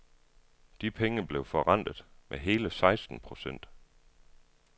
De penge blev forrentet med hele seksten procent.